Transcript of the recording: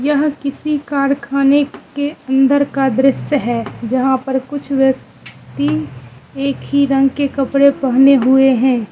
यह किसी कारखाने के अंदर का दृश्य है जहां पर कुछ व्य क्ति एक ही रंग के कपड़े पहने हुए हैं।